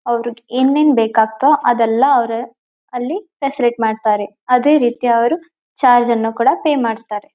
ಅವ್ರು ಏನೇನ್ ಬೇಕ್ ಆಗ್ತಾವ್ ಅದೆಲ್ಲ ಅವ್ರ ಅಲ್ಲಿ ಸಪರೇಟ್ ಮಾಡ್ತಾರೆ ಅದೇ ರೀತಿ ಅವ್ರು ಚಾರ್ಜ್ ಅನ್ನು ಕೂಡ ಪೆ ಮಾಡ್ತಾರೆ.